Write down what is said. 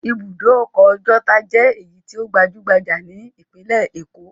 Ibùdó ọkọ̀ Ọjọ́ta jẹ́ èyí tó gbajú-gbajà ní ìpínlẹ̀ Èkó.